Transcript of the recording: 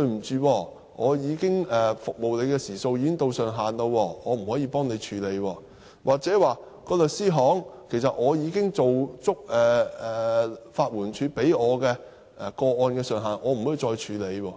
能說因為已經達到服務時數的上限，所以無法處理，又或是說已經做足法援署規定的個案上限，所以無法處理。